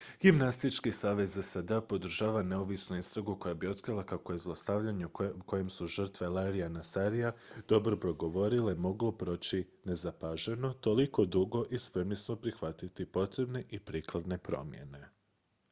gimnastički savez sad-a podržava neovisnu istragu koja bi otkrila kako je zlostavljanje o kojem su žrtve larryja nassara hrabro progovorile moglo proći nezapaženo toliko dugo i spremni smo prihvatiti potrebne i prikladne promjene